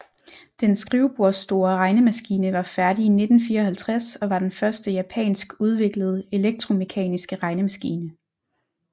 Den skrivebordsstore regnemaskine var færdig i 1954 og var den første japansk udviklede elektromekaniske regnemaskine